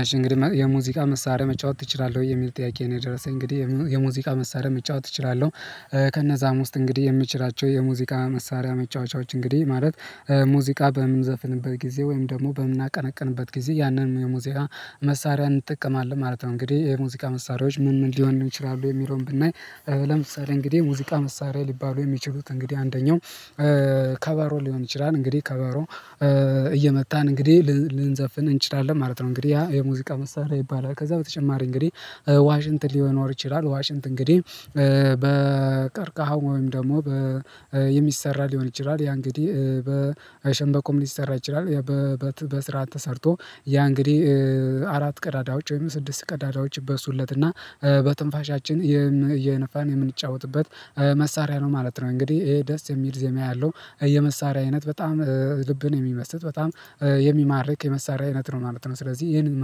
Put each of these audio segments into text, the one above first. አሽ እንግዲህ የሙዚቃ መሳሪያ መጫወት ትችላለህ ወይ የሚል ጥያቄ ነው የደረሰኝ እንግዲህ የሙዚቃ መሳሪያ መጫወት እችላለሁ። ከነዛም ውስጥ እንግዲህ የምችላቸው የሙዚቃ መሳሪያ መጫወቻዎች እንግዲህ ማለት ሙዚቃ በምንዘፍንበት ጊዜ ወይም ደግሞ በምናቀነቅንበት ጊዜ ያንን የሙዚያ መሳሪያ እንጠቀማለን ማለት ነው እንግዲህ የሙዚቃ መሳሪያዎች ምን ምን ሊሆን ይችላሉ የሚለውን ብናይ? ለምሳሌ እንግዲህ ሙዚቃ መሳሪያ ሊባሉ የሚችሉት እንግዲህ አንደኛው ከበሮ ሊሆን ይችላል። እንግዲህ ከበሮ እየመታን እንግዲህ ልንዘፍን እንችላለን ማለት ነው። እንግዲህ ያ የሙዚቃ መሳሪያ ይባላል ከዛ በተጨማሪ እንግዲህ ዋሽንት ሊኖር ይችላል ዋሽንት እንግዲህ በቀርቅሃ ወይም ደግሞ የሚሰራ ሊሆን ይችላል ያ እንግዲህ በሸንበቆም ሊሰራ ይችላል። በስርዓት ተሰርቶ ያ እንግዲህ አራት ቀዳዳዎች ወይም ስድስት ቀዳዳዎች ይበሱለት እና በትንፋሻችን እየነፋን የምንጫወትበት መሳሪያ ነው ማለት ነው። እንግዲህ ይሄ ደስ የሚል ዜማ ያለው የመሳሪያ አይነት በጣም ልብን የሚመስጥ በጣም የሚማርክ የመሳሪያ አይነት ነው ማለት ነው። ስለዚህ ይሄንን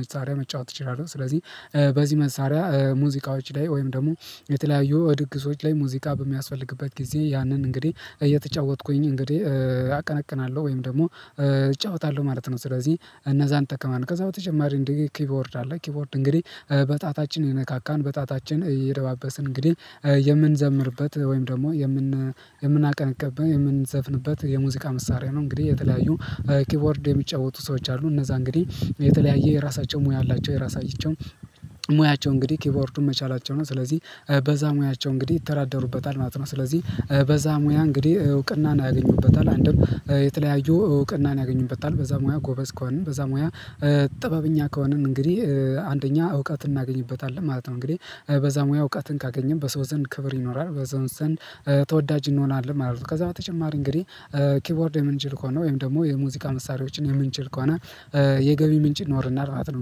መሳሪያ መጫወት እችላለህ ስለዚህ በዚህ መሳሪያ ሙዚቃዎች ላይ ወይም ደግሞ የተለያዩ ድግሶች ላይ ሙዚቃ በሚያስፈልግበት ጊዜ ያንን እንግዲህ እየተጫወትኩኝ እንግዲህ አቀነቅናለሁ ወይም ደግሞ እጫወታለሁ ማለት ነው። ስለዚህ እነዛን እጠቀማለሁ ከዛ በተጨማሪ እንዲህ ኪቦርድ አለ ኪቦርድ እንግዲህ በጣታችን እየነካካን በጣታችን እየደባበስን እንግዲህ የምንዘምርበት ወይም ደግሞ የምን የምናቀነቅንበት የምንዘፍንበት የሙዚቃ መሳሪያ ነው። እንግዲህ የተለያዩ ኪቦርድ የሚጫወቱ ሰዎች አሉ እነዛ እንግዲህ የተለያየ የራሳቸው ሙያ አላቸው የራሳቸው ሙያቸው እንግዲህ ኪቦርዱን መቻላቸው ነው ስለዚህ በዛ ሙያቸው እንግዲህ ይተዳደሩበታል ማለት ነው። ስለዚህ በዛ ሙያ እንግዲህ እውቅናን ያገኙበታል አንድም የተለያዩ እውቅናን ያገኙበታል በዛ ሙያ ጎበዝ ከሆን በዛ ሙያ ጥበብኛ ከሆንን እንግዲህ አንደኛ እውቀት እናገኝበታለን ማለት ነው። እንግዲህ በዛ ሙያ እውቀትን ካገኘን በሰው ዘንድ ክብር ይኖራል በሰው ዘንድ ተወዳጅ እንሆናለን ማለት ነው። ከዛ በተጨማሪ እንግዲህ ኪቦርድ የምንችል ከሆነ ወይም ደግሞ የሙዚቃ መሳሪያዎችን የምንችል ከሆነ የገቢ ምንጭ ይኖረናል ማለት ነው።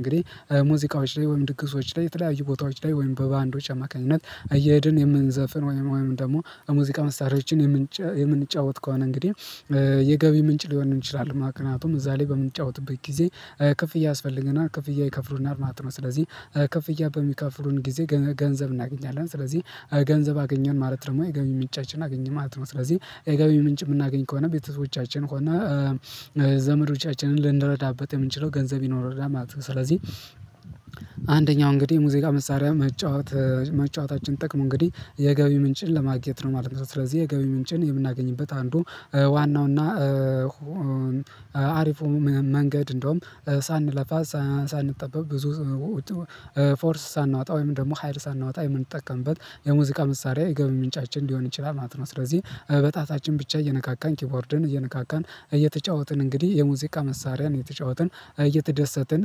እንግዲህ ሙዚቃዎች ላይ ወይም ድግሶች ላይ የተለያዩ ቦታዎች ላይ ወይም በባንዶች አማካኝነት አየሄድን የምንዘፍን ወይም ደግሞ ሙዚቃ መስራያዎችን የምንጫወት ከሆነ እንግዲህ የገቢ ምንጭ ሊሆን ይችላለ ምክንያቱም እዛ ላይ በምንጫወትበት ጊዜ ክፍያ ያስፈልገናል ክፍያ ይከፍሉናል ማለት ነው። ስለዚህ ክፍያ በሚከፍሉን ጊዜ ገንዘብ እናገኛለን ስለዚህ ገንዘብ አገኘን ማለት ደግሞ የገቢ ምንጫችን አገኘን ማለት ነው። ስለዚህ የገቢ ምንጭ እምናገኝ ከሆነ ቤተሰቦቻችን ሆነ ዘመዶቻችንን ልንረዳበት የምንችለው ገንዘብ ይኖረናል ማለት ነው። ስለዚህ አንደኛው እንግዲህ ሙዚቃ መሳሪያ መጫወታችን ጥቅሙ እንግዲህ የገቢ ምንጭን ለማግኘት ነው ማለት ነው። ስለዚህ የገቢ ምንጭን የምናገኝበት አንዱ ዋናው እና አሪፉ መንገድ እንዲያውም ሳንለፋ ሳንጠበብ ብዙ ፎርስ ሳናወጣ ወይም ደግሞ ሀይል ሳናወጣ የምንጠቀምበት የሙዚቃ መሳሪያ የገበያ ምንጫችን ሊሆን ይችላል ማለት ነው። ስለዚህ በጣታችን ብቻ እየነካካን ኪቦርድን እየነካካን እየተጫወትን እንግዲህ የሙዚቃ መሳሪያን እየተጫወትን እየተደሰትን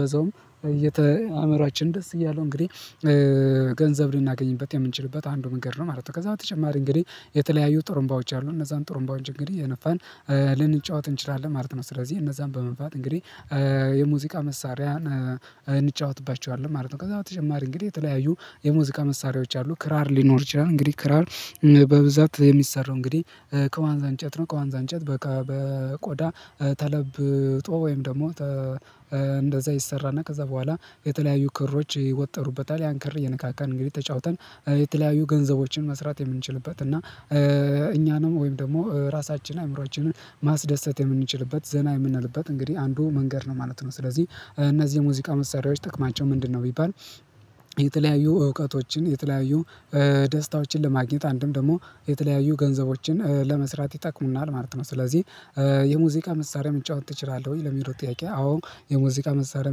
በዛውም አመሯችን ደስ እያለው እንግዲህ ገንዘብ ልናገኝበት የምንችልበት አንዱ መንገድ ነው ማለት ነው። ከዛ በተጨማሪ እንግዲህ የተለያዩ ጥሩምባዎች አሉ እነዛን ጥሩምባዎች እንግዲህ እየነፋን ልንጫወት እንችላለን ማለት ነው። ስለዚህ እነዛን በመንፋት እንግዲህ የሙዚቃ መሳሪያን እንጫወትባቸዋለን ማለት ነው። ከዛ በተጨማሪ እንግዲህ የተለያዩ የሙዚቃ መሳሪያዎች አሉ ክራር ሊኖር ይችላል እንግዲህ ክራር በብዛት የሚሰራው እንግዲህ ከዋንዛ እንጨት ነው ከዋንዛ እንጨት በቆዳ ተለብጦ ወይም ደግሞ እንደዛ ይሰራና ከዛ በኋላ የተለያዩ ክሮች ይወጠሩበታል ያን ክር እየነካካን እንግዲህ ተጫውተን የተለያዩ ገንዘቦችን መስራት የምንችልበት እና እኛንም ወይም ደግሞ ራሳችን አዕምሯችንን ማስደሰት የምንችልበት ዘና የምንልበት እንግዲህ አንዱ መንገድ ነው ማለት ነው። ስለዚህ እነዚህ የሙዚቃ መሳሪያዎች ጥቅማቸው ምንድነው? ቢባል የተለያዩ እውቀቶችን የተለያዩ ደስታዎችን ለማግኘት አንድም ደግሞ የተለያዩ ገንዘቦችን ለመስራት ይጠቅሙናል ማለት ነው። ስለዚህ የሙዚቃ መሳሪያ መጫወት ትችላለህ ወይ ለሚለው ጥያቄ አወ የሙዚቃ መሳሪያ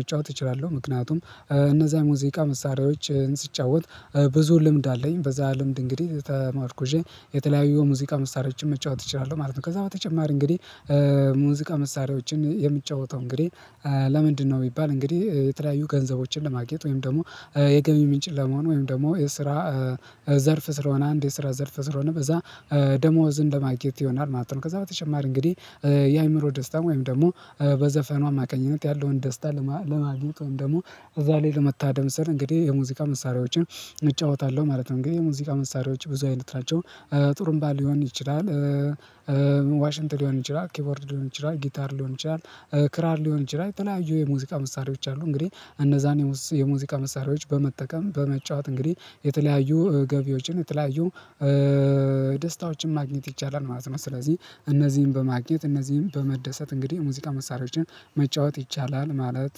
መጫወት እችላለሁ። ምክንያቱም እነዛን ሙዚቃ መሳሪያዎችን ስጫወት ብዙ ልምድ አለኝ በዛ ልምድ እንግዲህ ተመርኩዠ የተለያዩ የሙዚቃ መሳሪያዎችን መጫወት እችላለሁ ማለት ነው። ከዛ በተጨማሪ እንግዲህ ሙዚቃ መሳሪያዎችን የምጫወተው እንግዲህ ለምንድነው ቢባል እንግዲህ የተለያዩ ገንዘቦችን ለማግኘት ወይም ደግሞ የገሚ ምንጭ ለመሆን ወይም ደግሞ የስራ ዘርፍ ስለሆነ አንድ የስራ ዘርፍ ስለሆነ በዛ ደሞዝ እንደማግኘት ይሆናል ማለት ነው። ከዛ በተጨማሪ እንግዲህ የአእምሮ ደስታ ወይም ደግሞ በዘፈኑ አማካኝነት ያለውን ደስታ ለማግኘት ወይም ደግሞ እዛ ላይ ለመታደም ስል እንግዲህ የሙዚቃ መሳሪያዎችን እጫወታለሁ ማለት ነው። እንግዲህ የሙዚቃ መሳሪያዎች ብዙ አይነት ናቸው። ጥሩምባ ሊሆን ይችላል ዋሽንት ሊሆን ይችላል ኪቦርድ ሊሆን ይችላል ጊታር ሊሆን ይችላል ክራር ሊሆን ይችላል የተለያዩ የሙዚቃ መሳሪያዎች አሉ። እንግዲህ እነዛን የሙዚቃ መሳሪያዎች በመጠቀም በመጫወት እንግዲህ የተለያዩ ገቢዎችን የተለያዩ ደስታዎችን ማግኘት ይቻላል ማለት ነው። ስለዚህ እነዚህን በማግኘት እነዚህን በመደሰት እንግዲህ ሙዚቃ መሳሪያዎችን መጫወት ይቻላል ማለት።